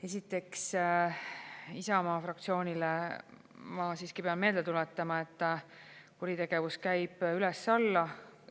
Esiteks, Isamaa fraktsioonile ma siiski pean meelde tuletama, et kuritegevus käib üles-alla.